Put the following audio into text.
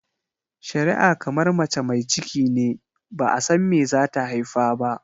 shari'a kamar mace mai cikine ba'a san me zata haifa ba.